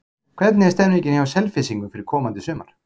Hvernig er stemmingin hjá Selfyssingum fyrir komandi sumar?